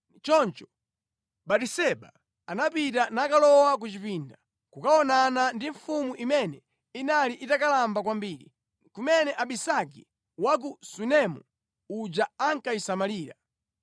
Choncho Batiseba anapita nakalowa ku chipinda kukaonana ndi mfumu imene inali itakalamba kwambiri, kumene Abisagi wa ku Sunemu uja ankayisamalira.